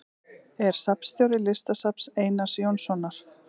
Er safnstjóri Listasafns Einars Jónssonar.